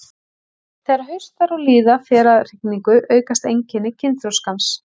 Þegar haustar og líða fer að hrygningu aukast einkenni kynþroskans.